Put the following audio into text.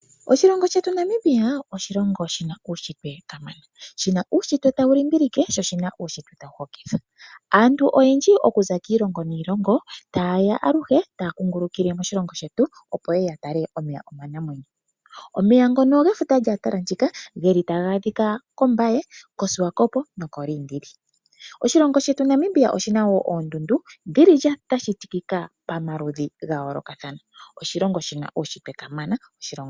Oshilongo shetu Namibia oshilongo shina uushitwe kamana, shina uushitwe tawu limbilike sho shina uushitwe tawu hokitha. Aantu oyendji okuza kiilongo niilongo tayeya aluhe taya kungulukile moshilongo shetu, opo yeye ya tale omeya omanamwenyo. Omeya ngono gefuta lya Antlantica geli taga adhika kOmbaye koSwakop nokoLiindili. Oshilongo shetu Namibia oshina woo oondundu dhili dha shitikika pamaludhi gayoolokathana. Oshilongo shina uushitwe kamana.